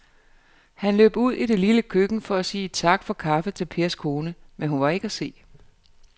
Han løb ud i det lille køkken for at sige tak for kaffe til Pers kone, men hun var ikke til at se.